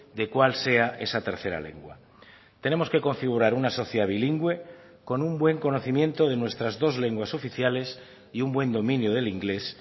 de cuál sea esa tercera lengua tenemos que configurar una sociedad bilingüe con un buen conocimiento de nuestras dos lenguas oficiales y un buen dominio del inglés